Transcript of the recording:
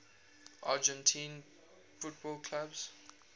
argentine football clubs